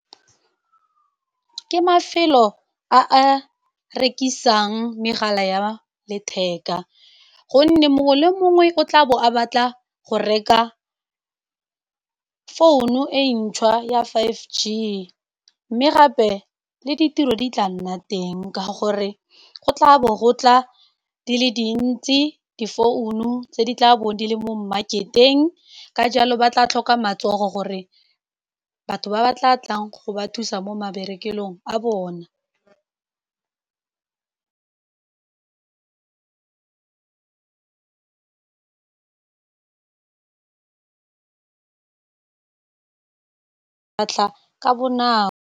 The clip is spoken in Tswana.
Ke mafelo a a rekisang megala ya letheka, gonne mongwe le mongwe o tlabo a batla go reka phone-u e ntšhwa ya five G. Mme gape le ditiro di tla nna teng ka gore go tla bo gotla di le dintsi di phone-u, tse di tla bong di le mo mmaketeng, ka jalo ba tla tlhoka matsogo gore batho ba ba tla tlang go ba thusa mo mabarekelong a bona ka bonako.